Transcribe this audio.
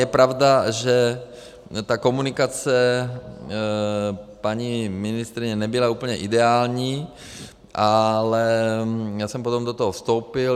Je pravda, že ta komunikace paní ministryně nebyla úplně ideální, ale já jsem potom do toho vstoupil.